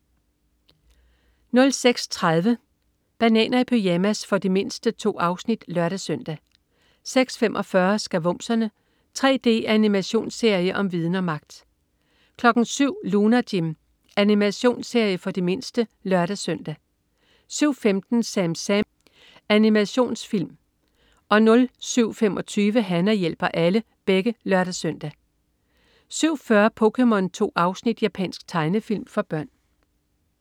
06.30 Bananer i pyjamas. For de mindste. 2 afsnit (lør-søn) 06.45 Skavumserne. 3D-animationsserie om viden og magt! 07.00 Lunar Jim. Animationsserie for de mindste (lør-søn) 07.15 SamSam. Animationsfilm (lør-søn) 07.25 Hana hjælper alle (lør-søn) 07.40 POKéMON. 2 afsnit. Japansk tegnefilm for børn